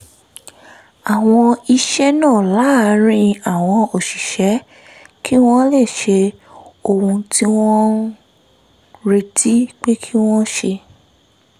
àwọn iṣẹ́ náà láàárín àwọn òṣìṣẹ́ kí wọ́n lè ṣe ohun tí wọ́n retí pé kí wọ́n ṣe